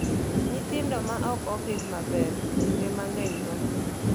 Nyithindo ma ok opidh maber, kinde mang'eny tho.